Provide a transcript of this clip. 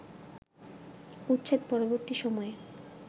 উচ্ছেদ-পরবর্তী সময়ে